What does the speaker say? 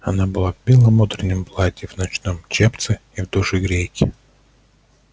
она была в белом утреннем платье в ночном чепце и в душегрейке